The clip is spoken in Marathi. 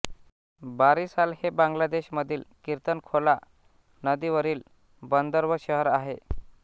बारिसाल हे बांगलादेशमधील कीर्तनखोला नदीवरील बंदर व शहर आहे